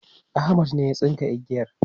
Ahmad ne ya tsinka igiyar